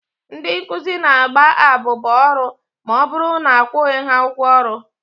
Ndị nkụzi na-agba abụba ọrụ ma ọbụrụ na akwụghị ha ụgwọ ọrụ.